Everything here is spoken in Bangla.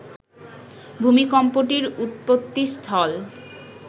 ভূমিকম্পটির উৎপত্তিস্থল